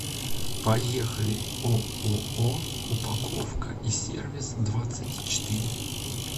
поехали ооо упаковка и сервис двадцать четыре